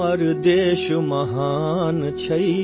अपना देश महान है